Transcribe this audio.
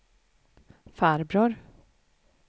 farbror